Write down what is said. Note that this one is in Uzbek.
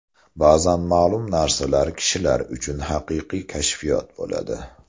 Ba’zan ma’lum narsalar kishilar uchun haqiqiy kashfiyot bo‘ladi.